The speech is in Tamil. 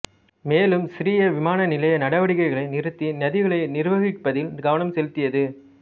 மேலும் சிறிய விமான நிலைய நடவடிக்கைகளை நிறுத்தி நிதிகளை நிர்வகிப்பதில் கவனம் செலுத்தியது